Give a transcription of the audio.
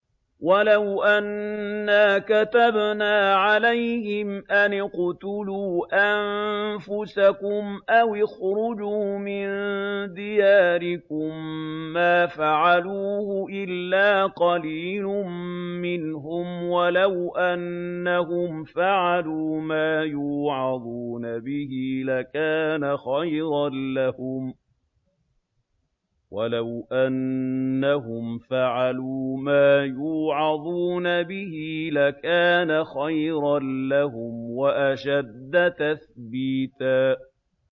وَلَوْ أَنَّا كَتَبْنَا عَلَيْهِمْ أَنِ اقْتُلُوا أَنفُسَكُمْ أَوِ اخْرُجُوا مِن دِيَارِكُم مَّا فَعَلُوهُ إِلَّا قَلِيلٌ مِّنْهُمْ ۖ وَلَوْ أَنَّهُمْ فَعَلُوا مَا يُوعَظُونَ بِهِ لَكَانَ خَيْرًا لَّهُمْ وَأَشَدَّ تَثْبِيتًا